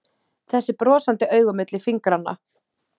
Þessi brosandi augu milli fingranna!